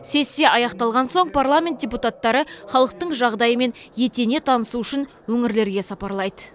сессия аяқталған соң парламент депутаттары халықтың жағдайымен етене танысу үшін өңірлерге сапарлайды